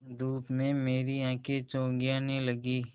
धूप में मेरी आँखें चौंधियाने लगीं